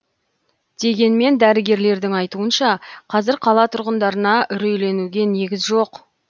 дегенмен дәрігерлердің айтуынша қазір қала тұрғындарына үрейленуге негіз жоқ